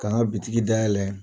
Ka n ka bitiki dayɛlɛ.